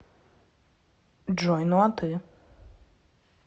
джой ну а ты